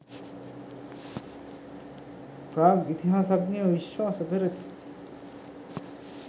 ප්‍රාග් ඉතිහාසඥයෝ විශ්වාස කරති